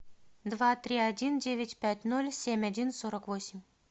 два три один девять пять ноль семь один сорок восемь